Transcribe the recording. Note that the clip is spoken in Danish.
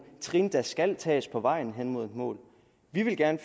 ting der skal tages på vej hen mod et mål vi vil gerne